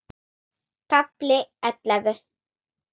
KAFLI ELLEFU